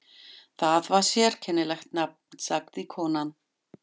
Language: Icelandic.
Það var sérkennilegt nafn, sagði konan.